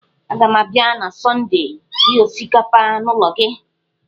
Aga m abịa na Sọndee rie osikapa n'ụlọ gị.